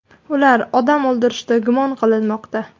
Ular odam o‘ldirishda gumon qilinmoqda.